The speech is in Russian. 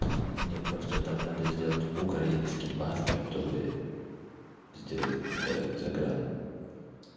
мне просто там надо сделать украинский паспорт чтобы сделать загран